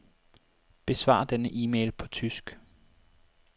Besvar denne e-mail på tysk.